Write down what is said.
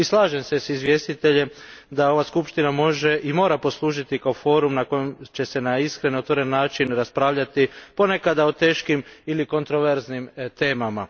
I slažem se s izvjestiteljem da ova skupština može i mora poslužiti kao forum na kojem će se na iskren i otvoren način raspravljati ponekada o teškim ili kontroverznim temama.